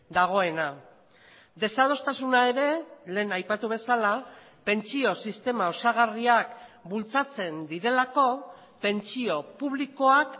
dagoena desadostasuna ere lehen aipatu bezala pentsio sistema osagarriak bultzatzen direlako pentsio publikoak